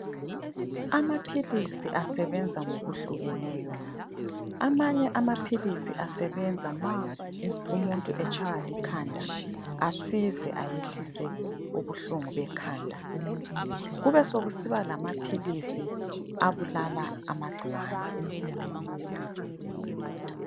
Amaphilisi asebenza ngokuhlukeneyo, amanye amaphilisi asebenza ma umuntu etshaywa likhanda asize ayehlise ubuhlungu bekhanda. Kube sokusiba lamaphilisi abulala amagcikwane.